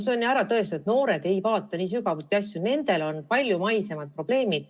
See on ju ära tõestatud, et noored ei vaata nii sügavuti asju, nendel on palju maisemad probleemid.